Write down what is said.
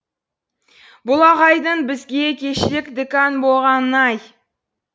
бұл ағайдың бізге кешірек декан болғанын ай